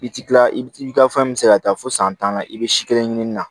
I bi tila i bi i ka fɛn min se ka taa fo san tan na i be si kelen ɲini na